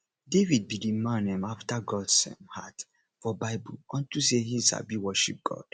david be the man um after gods um heart for bible unto say he sabi worship god